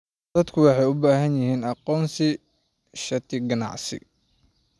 Dadku waxay u baahan yihiin aqoonsiyo shati ganacsi.